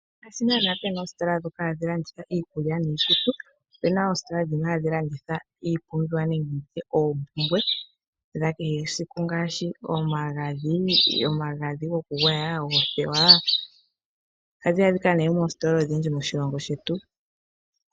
Ngaashi nana pena oositola ndhoka hadhi landitha iikulya niikutu. Opena oositola dhimwe hadhi landitha iipumbiwa nenge tutye oompumbwe dha kehe siku ngaashi omagadhi , omagadhi gokugwaya noothewa. Ohadhi adhika nee moositola odhindji moshilongo shetu.